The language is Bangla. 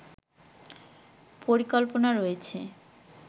পরিকল্পনা রয়েছে